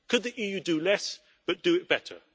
Could the EU do less, but do it better?